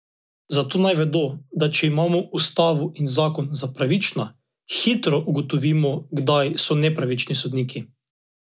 Zato naj vedo, da če imamo ustavo in zakon za pravična, hitro ugotovimo, kdaj so nepravični sodniki.